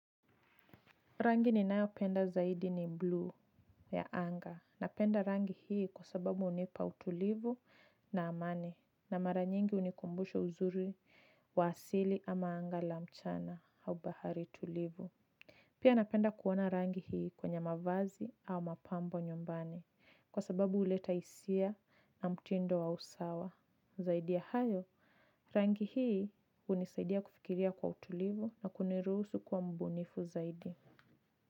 Rangi ninayo penda zaidi ni bluu ya anga napenda rangi hii kwa sababu hunipa utulivu na amani na mara nyingi hunikumbusha uzuri wa asili ama anga la mchana au bahari tulivu. Pia napenda kuona rangi hii kwenye mavazi au mapambo nyumbani, kwa sababu huleta hisia na mtindo wa usawa. Zaidi ya hayo rangi hii hunisaidia kufikiria kwa utulivu na kuniruhusu kuwa mbunifu zaidi.